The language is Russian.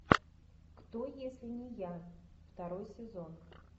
кто если не я второй сезон